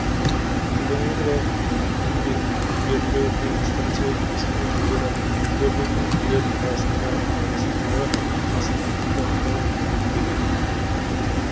тригонометриялық нивелирлеу бір станциядан кез келген өзара көрінетін нүктелердің арасындағы асып кетуді анықтауға мүмкіндік береді